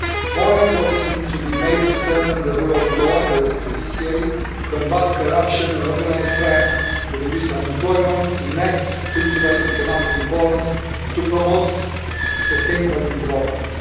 More efforts need to be made to strengthen the rule of law and the judiciary to combat corruption and organised crime, to reduce unemployment, enact structural economic reforms and promote sustainable development.